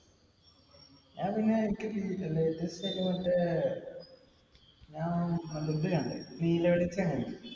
ഞാന്‍ പിന്നെ മറ്റേ ഞാന്‍ ഇത് കണ്ടു. നീല വെളിച്ചം കണ്ടു.